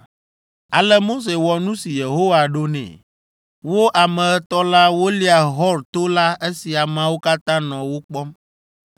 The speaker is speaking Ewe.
Ale Mose wɔ nu si Yehowa ɖo nɛ. Wo ame etɔ̃ la wolia Hor to la esi ameawo katã nɔ wo kpɔm.